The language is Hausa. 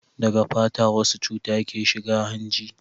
daga fata wasu cuta ke shiga hanji